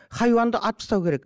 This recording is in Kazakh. хайуанды атып тастау керек